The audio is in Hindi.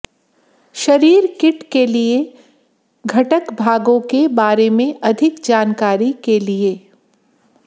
शरीर किट के लिए घटक भागों के बारे में अधिक जानकारी के लिए